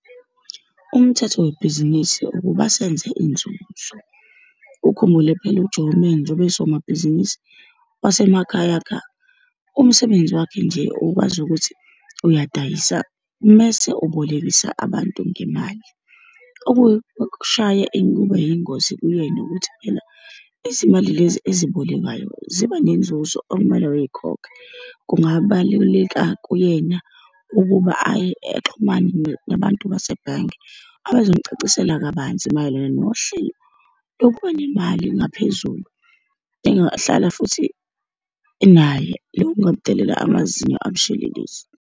Umthetho webhizinisi ukuba senze inzuzo. Ukhumbule phela uJoeman njengoba engusomabhizinisi wasemakhaya kha, umsebenzi wakhe nje ukwazi ukuthi uyadayisa mese ubolekisa abantu ngemali. kube yingozi kuyena, ukuthi phela izimali lezi ezibolekwayo ziba nenzuzo okumele uyikhokhe. Kungabaluleka kuyena ukuba aye, exhumane nabantu basebhange, abazomcacisela kabanzi mayelana nohlelo lokuba nemali engaphezulu, engahlala futhi naye. Loku kungamdalela amazinyo abushelelezi.